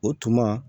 O tuma